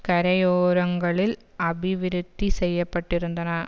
கரையோரங்களில் அபிவிருத்தி செய்யபட்டிருந்தன